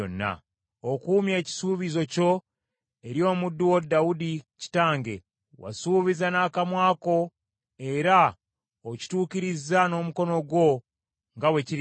Okuumye ekisuubizo kyo eri omuddu wo Dawudi kitange; wasuubiza n’akamwa ko era okituukirizza n’omukono gwo, nga bwe kiri leero.